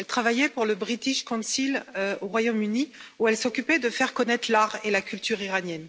Elle travaillait pour le British Council au Royaume Uni, où elle s'occupait de faire connaître l'art et la culture de l'Iran.